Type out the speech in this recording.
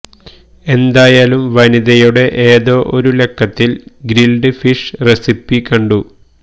എന്തായാലും വനിതയുടെ ഏതോ ഒരു ലക്കത്തില് ഗ്രില്ഡ് ഫിഷ് റെസിപ്പി കണ്ടു